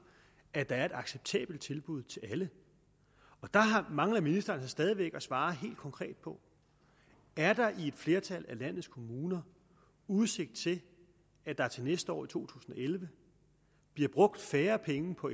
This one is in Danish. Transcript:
at der er et acceptabelt tilbud til alle og dér mangler ministeren altså stadig væk at svare helt konkret på er der i et flertal af landets kommuner udsigt til at der til næste år i to tusind og elleve bliver brugt færre penge på